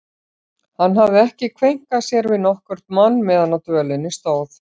Hann hafði ekki kveinkað sér við nokkurn mann meðan á dvölinni stóð.